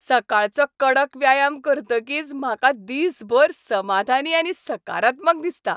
सकाळचो कडक व्यायाम करतकीच म्हाका दिसभर समाधानी आनी सकारात्मक दिसता.